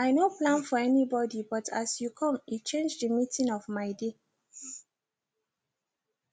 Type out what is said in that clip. i no plan for anybody but as you come e change the meaning of my day